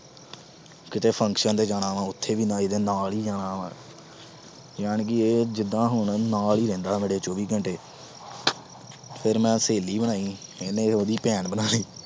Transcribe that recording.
ਕਿਤੇ function ਤੇ ਜਾਣਾ ਵੀ, ਉਥੇ ਵੀ ਮੈਂ ਇਹਦੇ ਨਾਲ ਈ ਜਾਣਾ ਵਾ। ਯਾਨੀ ਹੁਣ ਕਿ ਇਹ ਜਿਦਾਂ ਹੁਣ ਮੇਰੇ ਨਾਲ ਈ ਰਹਿੰਦਾ ਚੌਵੀਂ ਘੰਟੇ। ਫਿਰ ਮੈਂ ਸਹੇਲੀ ਬਣਾਈ, ਇਹਨੇ ਉਹਦੀ ਭੈਣ ਬਣਾ ਲੀ।